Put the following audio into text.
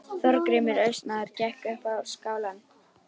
Þorgrímur Austmaður gekk upp á skálann.